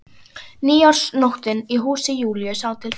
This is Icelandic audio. Nýársnóttin í húsi Júlíu sá til þess.